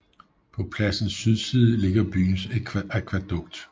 På pladsens sydside ligger byens akvædukt